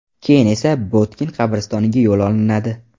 Keyin esa Botkin qabristoniga yo‘l olinadi.